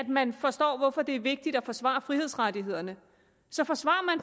man forstår hvorfor det er vigtigt at forsvare frihedsrettighederne så forsvarer